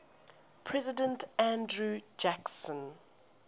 president andrew jackson